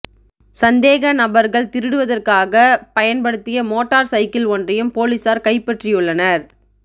சந்தேக நபர்கள் திருடுவதற்காக பயன்படுத்திய மோட்டார் சைக்கிள் ஒன்றையும் பொலிசார் கைப்பற்றியுள்ளனர்